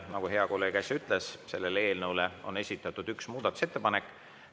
Nagu hea kolleeg äsja ütles, selle eelnõu kohta on esitatud üks muudatusettepanek.